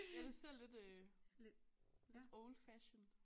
Ja det ser lidt øh lidt old fashion